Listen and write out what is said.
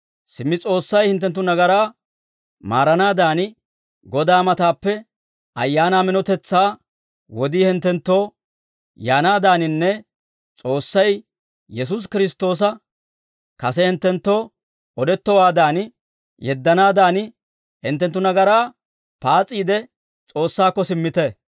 Simmi S'oossay hinttenttu nagaraa maaranaadan, Godaa matappe ayaanaa minotetsaa wodii hinttenttoo yaanaadaaninne S'oossay Yesuusi Kiristtoosa kase hinttenttoo odettowaadan yeddanaadan, hinttenttu nagaraa paas'iide S'oossaakko simmite.